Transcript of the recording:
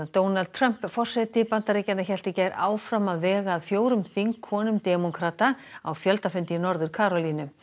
Donald Trump forseti Bandaríkjanna hélt í gær áfram að vega að fjórum þingkonum demókrata á í Norður Karólínu